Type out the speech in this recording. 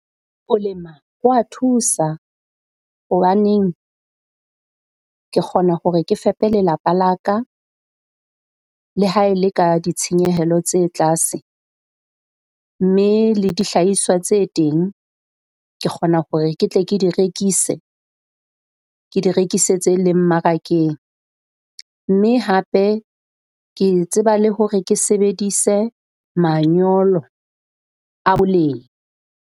Ho lema ho wa thusa hobaneng ke kgona hore ke fepe lelapa la ka, le ha e le ka ditshenyehelo tse tlase. Mme le dihlahiswa tse teng ke kgona hore ke tle ke di rekise, ke di rekise tse leng mmarakeng. Mme hape ke tseba le hore ke sebedise manyolo a boleng.